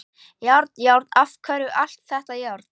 Járn, járn, af hverju allt þetta járn?